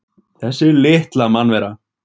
Þessi litla mannvera!